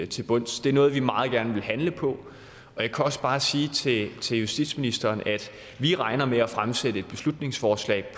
til bunds det er noget vi meget gerne vil handle på og jeg kan også bare sige til til justitsministeren at vi regner med at fremsætte et beslutningsforslag